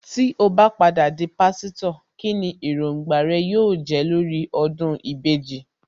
Tí ó bá padà di Pásítọ̀, kíni Èròǹgbà rẹ yóò jẹ́ lórí ọdún ìbejì